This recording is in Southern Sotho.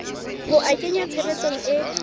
ho a kenya tshebetsong e